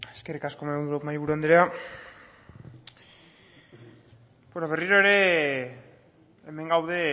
eskerrik asko mahaiburu andrea berriro ere hemen gaude